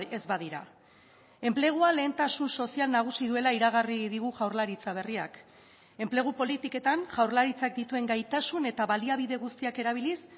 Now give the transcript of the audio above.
ez badira enplegua lehentasun sozial nagusi duela iragarri digu jaurlaritza berriak enplegu politiketan jaurlaritzak dituen gaitasun eta baliabide guztiak erabiliz